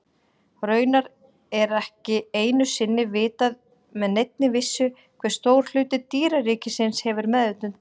Raunar er ekki einu sinni vitað með neinni vissu hve stór hluti dýraríkisins hefur meðvitund.